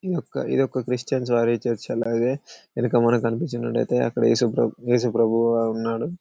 ఇది ఒక ఇదొక క్రిస్టియన్స్ వారి చర్చి వెనక మనకి కనిపించినట్టు అయితే అక్కడ యేసు ప్రభు యేసు ప్రభు ఉన్నాడు.